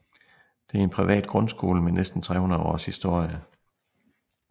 Det er en privat grundskole med næsten 300 års historie